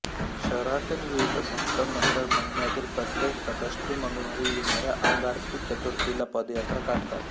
शहरातील विविध भक्त मंडळ महिन्यातील प्रत्येक संकष्टी मंगळवारी येणाऱ्या अंगारकी चतुर्थीला पदयात्रा काढतात